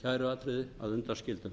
sömu kæruatriði að undanskildum